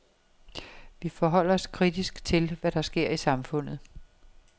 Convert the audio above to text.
Vi forholder os kritisk til, hvad der sker i samfundet.